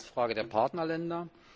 Zweitens die Frage der Partnerländer.